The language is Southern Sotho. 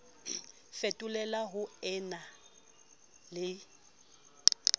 fetolela ho e na le